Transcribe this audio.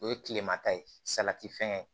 O ye tilema ta ye salati fɛngɛ ye